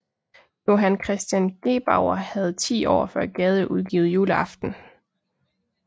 Johan Christian Gebauer havde ti år før Gade udgivet Juleaften